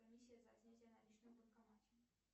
комиссия за снятие наличных в банкомате